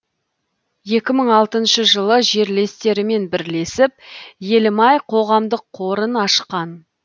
екі мың алтыншы жылы жерлестерімен бірлесіп елім ай қоғамдық қорын ашқан